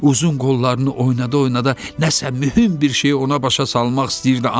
Uzun qollarını oynada-oynada nəsə mühüm bir şeyi ona başa salmaq istəyirdi.